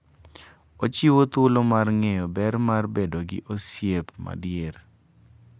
Ochiwo thuolo mar ng'eyo ber mar bedo gi osiep madier.